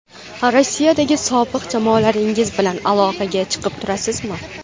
Rossiyadagi sobiq jamoadoshlaringiz bilan aloqaga chiqib turasizmi?